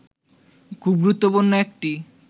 খুব গুরুত্বপূর্ণ একটি